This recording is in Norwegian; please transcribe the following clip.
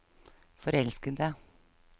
forelskede